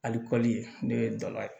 Ali kɔli ne ye dala ye